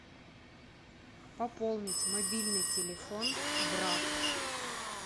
пополнить мобильный телефон брат